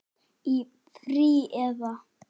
Í frí. eða?